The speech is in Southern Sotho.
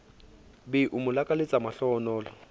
be o mo lakaletse mahlohonolo